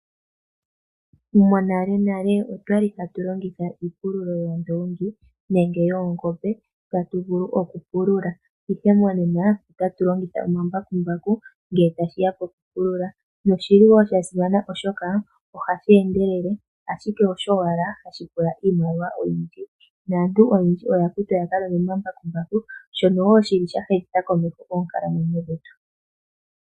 Monalenale otwali hatu longitha iipilulo yoondongi nenge yoongombe okupulula. Ihe monena ohatu longitha omambakumbaku ngele tashiya pokupulula. Osha simana oshoka ohashi endelele osho owala hashi pula iimaliwa oyindji. Aantu oyendji oya kutwa yakahinge omambambaku shono sha humitha komeho oonkalamwenyo dhetu.